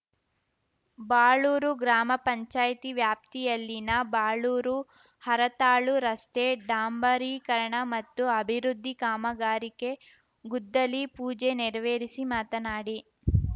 ಬಾಳೂರು ಗ್ರಾಮ ಪಂಚಾಯಿತಿ ವ್ಯಾಪ್ತಿಯಲ್ಲಿನ ಬಾಳೂರು ಹರತಾಳು ರಸ್ತೆ ಡಾಂಬರೀಕರಣ ಮತ್ತು ಅಭಿವೃದ್ಧಿ ಕಾಮಗಾರಿಕೆ ಗುದ್ದಲಿ ಪೂಜೆ ನೆರವೇರಿಸಿ ಮಾತನಾಡಿ